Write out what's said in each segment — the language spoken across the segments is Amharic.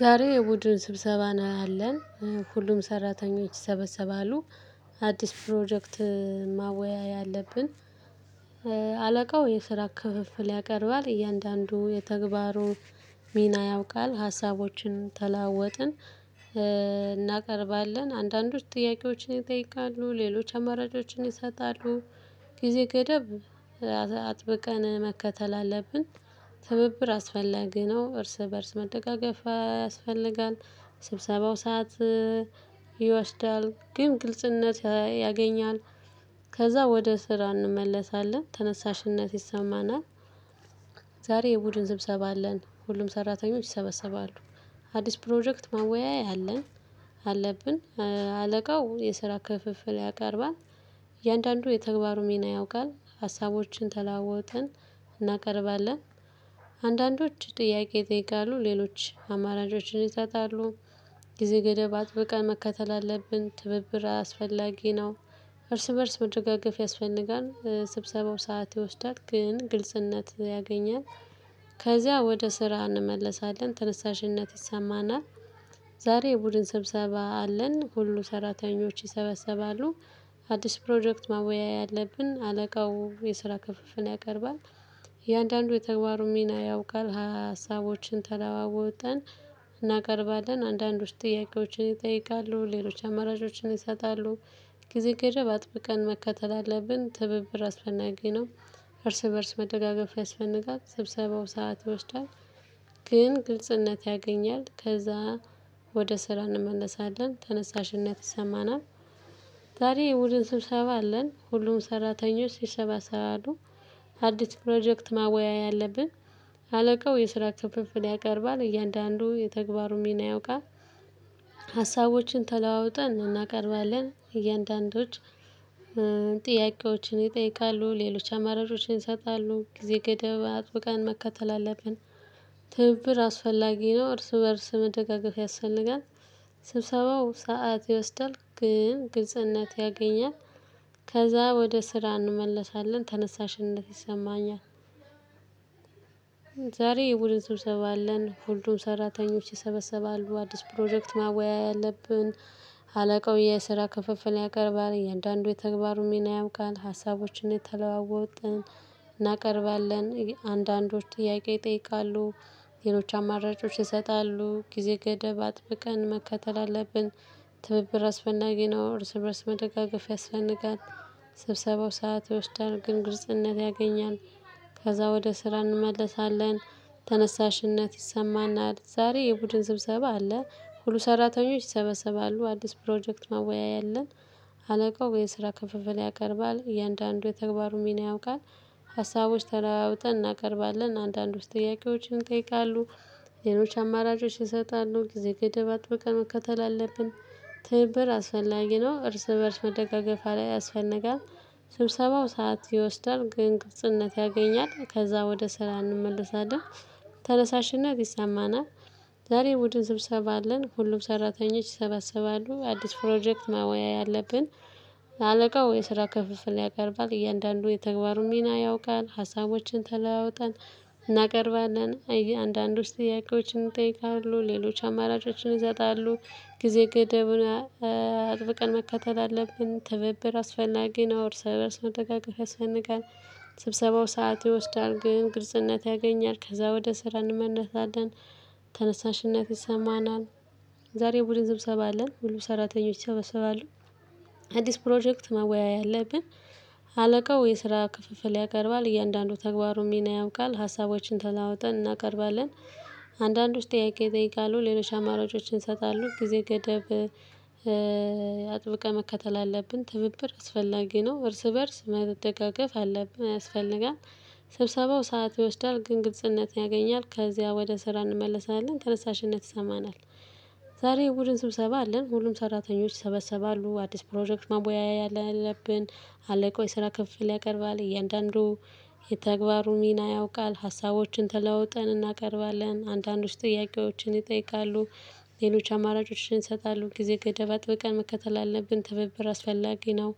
ዛሬ የቡድን ስብሰባ ነው ያለን። ሁሉም ሰራተኞች ይሰበሰባሉ። አዲስ ፕሮጀክት ማወያያ ያለብን። አለቃው የስራ ክፍፍል ያቀርባል። እያንዳንዱ የተግባሩ ሚና ያውቃል። ሀሳቦችን ተለዋወጥን። እናቀርባለን። አንዳንዶች ጥያቄዎችን ይጠይቃሉ ሌሎች አማራጮችን ይሰጣሉ። ጊዜ ገደብ አጥብቀን መከተል አለብን። ትብብር አስፈላጊ ነው እርስ በእርስ መደጋገፍ ያስፈልጋል። ስብሰባው ሰዓት ይወስዳል ግን ግልጽነት ያገኛል። ከዛ ወደ ስራ እንመለሳለን ተነሳሽነት ይሰማናል። ዛሬ የቡድን ስብሰባ አለን ሁሉም ሰራተኞች ይሰበሰባሉ። አዲስ ፕሮጀክት ማወያያ አለን አለብን። አለቃው የስራ ክፍፍል ያቀርባል። እያንዳንዱ የተግባሩ ሚና ያውቃል። ሀሳቦችን ተለዋወጥን እናቀርባለን። አንዳንዶች ጥያቄ ይጠይቃሉ ሌሎች አማራጮችን ይሰጣሉ። ጊዜ ገደብ አጥብቀን መከተል አለብን ትብብር አስፈላጊ ነው። እርስ በእርስ መደጋገፍ ያስፈልጋል። ስብሰባው ሰዓት ይወስዳት ግን ግልጽነት ያገኛል። ከዚያ ወደ ስራ እንመለሳለን ተነሳሽነት ይሰማናል። ዛሬ የቡድን ስብሰባ አለን ሁሉ ሰራተኞች ይሰበሰባሉ። አዲስ ፕሮጀክት ማወያያ አለብን አለቃው የስራ ክፍፍል ያቀርባል። እያንዳንዱ የተግባሩን ሚና ያውቃል። ሀሳቦችን ተለዋወጥን እናቀርባለን። አንዳንዶች ጥያቄዎችን ይጠይቃሉ ሌሎች አማራጮችን ይሰጣሉ። ጊዜ ገደብ አጥብቀን መከተል አለብን ትብብር አስፈላጌ ነው። እርስ በእርስ መደጋገፍ ያስፈልጋል ስብሰባው ሰዓት ይወስዳል። ግን ግልጽነት ያገኛል ከዛ ወደ ስራ እንመለሳለን ተነሳሽነት ይሰማናል። ዛሬ የቡድን ስብሰባ አለን ሁሉም ሰራተኞች ይሰባሰባሉ። አዲስ ፕሮጀክት ማወያያ ያለብን። አለቃው የስራ ክፍፍል ያቀርባል እያንዳንዱ የተግባሩን ሚና ያውቃል። ሀሳቦችን ተለዋውጠን እናቀርባለን እያንዳንዶች። ጥያቄዎችን ይጠይቃሉ ሌሎች አማራጮችን ይሰጣሉ ጊዜ ገደብ አጥብቃን መከተል አለብን። ትብብር አስፈላጊ ነው እርስ በእርስ መደጋገፍ ያስፈልጋል። ስብሰባው ሰዓት ይወስዳል ግን ግልጽነት ያገኛል። ከዛ ወደ ስራ እንመለሳለን ተነሳሽነት ይሰማኛል። ዛሬ የቡድን ሰብሰብ አለን ሁሉም ሰራተኞች ይሰበሰባሉ አዲስ ፕሮጀክት ማወያያ አለብን። አለቃው የስራ ክፍፍል ያቀርባል እያንዳንዱ የተግባሩን ሚና ያምቃል ሀሳቦችን እየተለዋወጥን። እናቀርባለን አንዳንዶች ጥያቄ ይጠይቃሉ። ሌሎች አማራጮች ይሰጣሉ ጊዜ ገደብ አጥብቀን መከተል አለብን። ትብብር አስፈላጊ ነው እርስ በእርስ መደጋገፍ ያስፈልጋል። ስብሰባው ሰዓት ይወስዳል ግን ግልጽነት ያገኛል። ከዛ ወደ ስራ እንመለሳለን ተነሳሽነት ይሰማናል። ዛሬ የቡድን ስብሰባ አለ። ሁሉ ሰራተኞች ይሰበሰባሉ አዲስ ፕሮጀክት ማወያያ አለን። አለቃው የስራ ከፍፍል ያቀርባል እያንዳንዱ የተግባሩ ሚና ያውቃል። ሀሳቦች ተለዋውጠን እናቀርባለን አንዳንዶች ጥያቄዎችን ይጠይቃሉ። ሌሎች አማራጮች ይሰጣሉ ጊዜ ገደብ አጥብቀን መከተል አለብን። ትብብር አስፈላጊ ነው እርስ በእርስ መደጋገፍ ያስፈልጋል። ስብሰባው ሰዓት ይወስዳል ግን ቅልፅነት ያገኛል። ከዛ ወደ ስራ እንመለሳለን ተነሳሽነት ይሰማናል። ዛሬ ቡድን ስብሰባ አለን ሁሉም ሰራተኞች ይሰበስባሉ አዲስ ፕሮጀክት ማወወያ አለብን። አለቃው የስራ ክፍልፍል ያቀርባል እያንዳንዱ የተግባሩን ሚና ያውቃል ሀሳቦችን ተለዋውጠን። እናቀርባለን አንዳንዶች ጥያቄዎችን ይጠይቃለሁ ሌሎች አማራጮችን ይሰጣለሁ። ጊዜ ገደቡን አጥብቀን መከተል አለብን ትብብር አስፈላጊ ነው እርስ በርስ መደጋገፍ ያስፈንጋል። ስብሰባው ሰዓት ይወስዳል ግን ግልጽነት ያገኛል ከዛ ወደ ስራ እንመለሳለን። ተነሳሽነት ይሰማናል። ዛሬ የቡድን ስብሰባ አለን ሁሉ ሰራተኞች ይሰበሰባሉ። አዲስ ፕሮጀክት መወያያ አለብን። አለቃው የስራ ክፍፍል ያቀርባል እያንዳንዱ ተግባሩን ሚና ያውቃል ሀሳቦችን ተለዋውጠን እናቀርባለን። አንዳንዶች ጥያቄ ይጠይቃሉ ሌሎች አማራጮችን ይሰጣሉ ጊዜ ገደብ አጥብቀን መከተል አለብን ትብብር አስፈላጊ ነው እርስ በእርስ መደጋገፍ አለብን ያስፈልጋል። ስብሰባው ሰዓት ይወስዳል ግን ግልጽነት ያገኛል ከዚያ ወደ ስራ እንመልሳለን ተነሳሽነት ይሰማናል። ዛሬ የቡድን ስብሰባ አለን ሁሉም ሰራተኞች ይሰበሰባሉ አዲስ ፕሮጀክት መወያያ አለብን። አለቃው የስራ ክፍፍል ያቀርባል እያንዳንዱ። የተግባሩ ሚና ያውቃል ሀሳቦችን ተለዋውጠን እናቀርባለን አንዳንዶች ጥያቄዎችን ይጠይቃሉ። ሌሎች አማራጮችን ይሰጣሉ ጊዜ ገደብ አጥብቀን መከተል አለብን ትብብር አስፈላጊ ነው።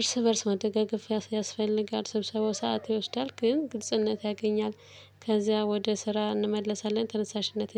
እርስ በእርስ መደጋገፍ ያስፈልጋል ስብሰባው ሰዓት ይወስዳል ግን ግልጽነት ያገኛል። ከዚያ ወደ ስራ እንመለሳለን ተነሳሽነት